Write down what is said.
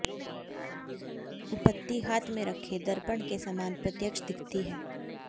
उपपत्ति हाथ में रखे दर्पण के समान प्रत्यक्ष दिखती है